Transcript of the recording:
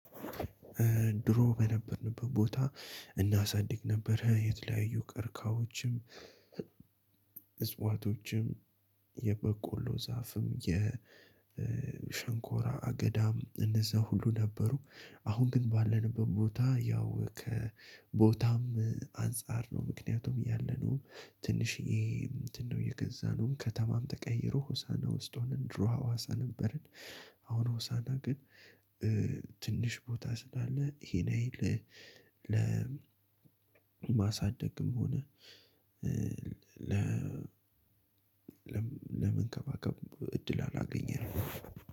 ድሮ በነበርንበት ቦታ እናሳድግ ነበር የተለያዩ ቀርቃዎችን። እፅዋቶችም የበቆሎ ዛፍም የሸንኮራ አገዳም እነዛ ሁሉ ነበሩ። አሁን ግን ባለንበት ቦታ ያው ከቦታም አንፃር ነው። ምክንያቱም ያለነው ትንሽዬ እንትን ነው የገዛነው ከተማም ተቀይሮ ሆሳና ውስጥ ሆነን ድሮ ሀዋሳ ነበረን። አሁን ሆሳና ግን ትንሽ ቦታ ስላለ ይህን ያህል ለማሳደግም ሆነ። ለ ለመንከባከብ እድል አላገኘንም